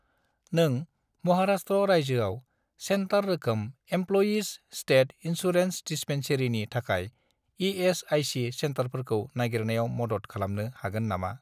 नों महाराष्ट्र रायजोआव सेन्टार रोखोम इमप्ल'यिज स्टेट इन्सुरेन्स दिस्पेन्सेरिनि थाखाय इ.एस.आइ.सि. सेन्टारफोरखौ नागिरनायाव मदद खालामनो हागोन नामा ?